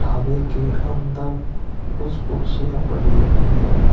के अंदर कुछ कुर्सियां पड़ी हुई है।